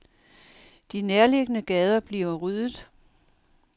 De nærliggende gader bliver ryddet.